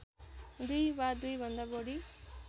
दुई वा दुईभन्दा बढी